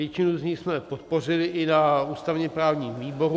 Většinu z nich jsme podpořili i na ústavně-právním výboru.